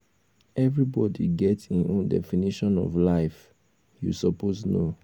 everybody get im own definition of life you suppose know.